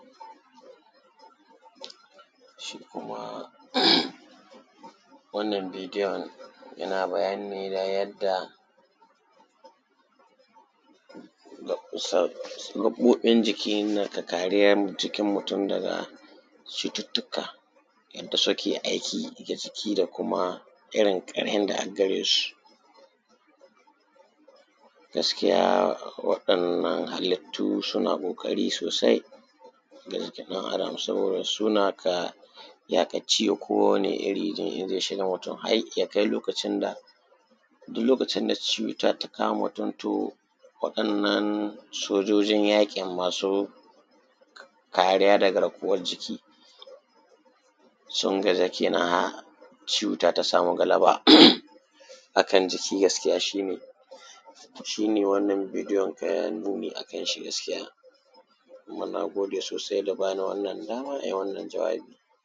Shi kuma wannnan bidiyo yana bayani ne na yadda gaɓoɓi jiki ke da kariya daga cututtuka inda suke aiki da jiki da kuma irin ƙarhin da aggare su. Gaskiya waɗannan halittu suna ƙokari sosai saboda suna ka ya ka ci duk lokaci da cuta ta kama mutum to waɗannan sojojin yaƙin masu kariya da garkuwar jiki sun gaza kenan cuta ta sama galaba a kan jiki shi ne wannan bidiyon ke nuni a kan shi. Kuma na gode sosai akan wannan da ba ni dama na yi wannan jawabi